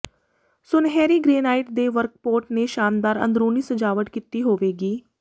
ਸੁਨਹਿਰੀ ਗ੍ਰੇਨਾਈਟ ਦੇ ਵਰਕਪੌਟ ਨੇ ਸ਼ਾਨਦਾਰ ਅੰਦਰੂਨੀ ਸਜਾਵਟ ਕੀਤੀ ਹੋਵੇਗੀ